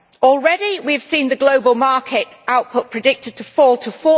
Already we have seen global market output predicted to fall to